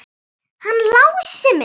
Hann Lási minn!